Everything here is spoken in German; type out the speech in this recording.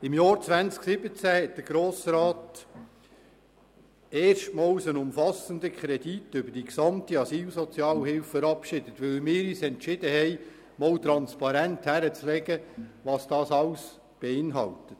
Im Jahr 2017 hat der Grosse Rat erstmals einen umfassenden Kredit über die gesamte Asylsozialhilfe verabschiedet, weil wir uns entschieden hatten, Transparenz darüber zu schaffen, was die Asylsozialhilfe alles beinhaltet.